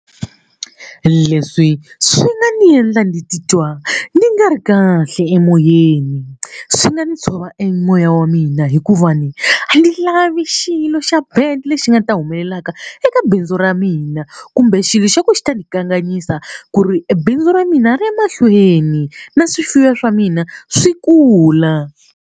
Leswi swi nga ni endla ni titwa ni nga ri kahle emoyeni swi nga ni tshova e moya wa mina hikuva ni a ndzi lavi xilo xa bad lexi nga ta humelelaka eka bindzu ra mina kumbe xilo xa ku xi ta ndzi kanganyisa ku ri bindzu ra mina ri ya mahlweni na swifuwo swa mina swi kula.